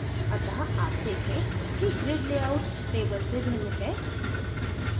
अत: आप देखें कि grid लेआउट table से भिन्न है